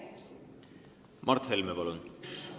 Mart Helme, palun!